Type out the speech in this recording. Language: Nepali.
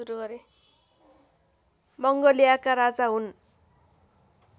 मङ्गोलियाका राजा हुन्